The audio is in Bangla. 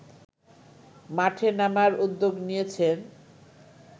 মাঠে নামার উদ্যোগ নিয়েছেন